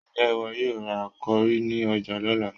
Ǹjẹ́ ìwọ yóò ra kọrí ní ọjà lọ́la?